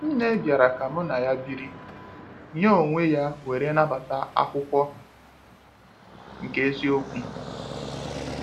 Nne bịara ka mụ na ya biri, nya oweeya were nabata akwụkwọ nke eziokwu.